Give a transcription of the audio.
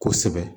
Kosɛbɛ